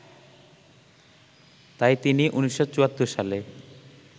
তাই তিনি ১৯৭৪ সালে